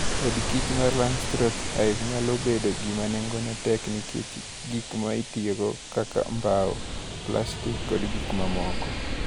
Odkich mar Langstroth Hive nyalo bedo gima nengone tek nikech gik mitiyogo kaka bao, plastik, kod gik mamoko.